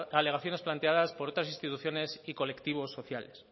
alegaciones planteadas por otras instituciones y colectivos sociales